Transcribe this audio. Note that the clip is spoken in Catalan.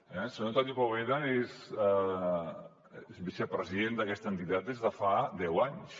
el senyor antoni poveda és vicepresident d’aquesta entitat des de fa deu anys